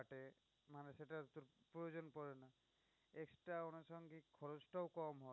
প্রয়োজন পরে না। extra আনুসাঙ্গিক খরচ টাও কম হয়।